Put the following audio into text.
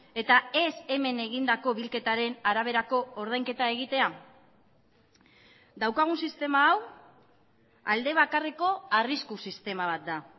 eta ez hemen egindako bilketaren araberako ordainketa egitea daukagun sistema hau alde bakarreko arrisku sistema bat da